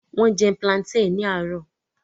Wọ́n jẹ plantain ní àárọ̀